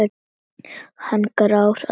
Hann er grár að lit.